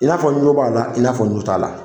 I n'a fɔ n jo b'a la, i n'a fɔ jo t'a la.